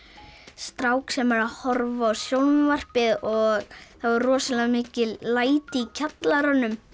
strák sem er að horfa á sjónvarpið og það er rosalega mikil læti í kjallaranum